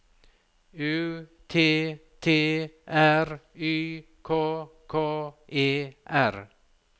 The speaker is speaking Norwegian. U T T R Y K K E R